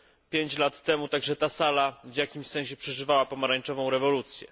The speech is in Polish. Pięć lat temu także ta sala w jakimś sensie przeżywała pomarańczową rewolucję.